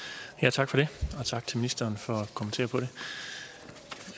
tak for det og tak til ministeren for